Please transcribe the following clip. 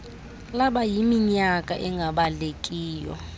laba yiminyaka engabalekiyo